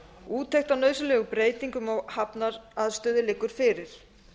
úttekt á nauðsynlegum breytingum á hafnaraðstöðu liggur fyrir